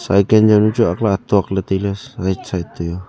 cycle jawnu chu aagley atok ley tailey right side toh a.